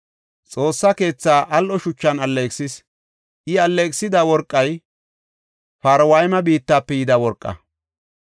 Xoossa keethaa al7o shuchan alleeqisis; I alleeqisida worqay Parwayma biittafe yida worqaa.